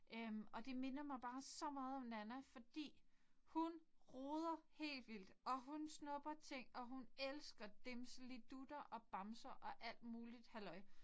Øh og det minder mig bare så meget om Nanna fordi hun roder helt vildt! Og hun snupper ting og hun elsker dimselidutter og bamser og alt muligt halløj